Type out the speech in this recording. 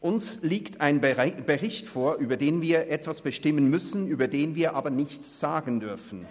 Uns liegt ein Bericht vor, über den wir bestimmen müssen, über den wir aber nichts sagen dürfen.